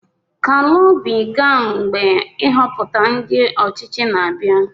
KALU OBI ga mgbe nhoputa ndi ochichi na-abia.